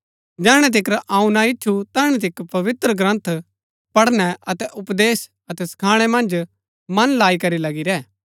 जैहणै तिकर अऊँ ना ईच्छुं तैहणै तिकर पवित्रग्रन्थ पढ़नै अतै उपदेश अतै सखाणै मन्ज मन लाई करी लगी रैह